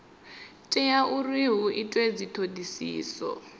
tea uri hu itwe dzithodisiso